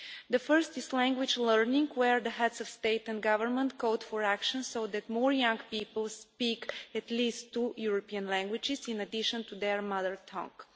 The first is language learning, where the Heads of State and Government called for action so that more young people will speak at least two European languages in addition to their mother tongue.